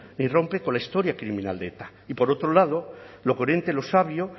ni rompe con la historia criminal de eta y por otro lado lo coherente lo sabio